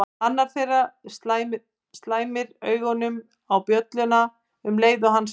Annar þeirra slæmir augunum á bjölluna um leið og hann spyr